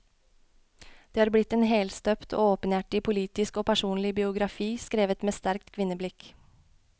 Det har blitt en helstøpt og åpenhjertig politisk og personlig biografi, skrevet med sterkt kvinneblikk.